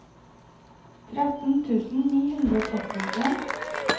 tretten tusen ni hundre og trettien